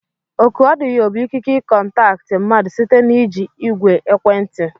Ọkụ ọdịyo bụ ikike i kontakti mmadụ site n'iji ìgwè ekwentị.